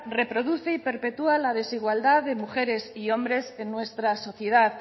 reproduce y perpetúa la desigualdad de mujeres y hombres en nuestra sociedad